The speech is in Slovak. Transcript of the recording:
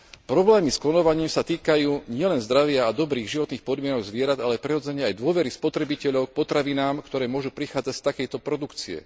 Problémy s klonovaním sa týkajú nielen zdravia a dobrých životných podmienok zvierat, ale prirodzene aj dôvery spotrebiteľov k potravinám, ktoré môžu prichádzať z takejto produkcie.